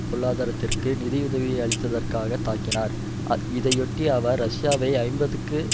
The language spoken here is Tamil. பொருளாதாரத்திற்கு நிதி உதவி அளிக்காததத்காக தாக்கினார் இதையொட்டி அவர் ரஷ்யாவை ஐம்பத்தி